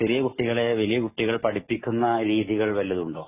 ചെറിയ കുട്ടികളെ വലിയ കുട്ടികള്‍ പഠിപ്പിക്കുന്ന രീതികള്‍ വല്ലതും ഉണ്ടോ?